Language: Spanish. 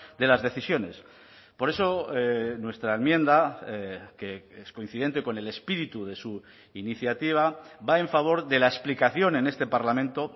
de las decisiones por eso nuestra enmienda que es coincidente con el espíritu de su iniciativa va en favor de la explicación en este parlamento